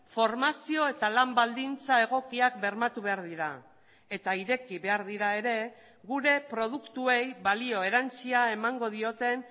formazio eta lan baldintza egokiak bermatu behar dira eta ireki behar dira ere gure produktuei balio erantsia emango dioten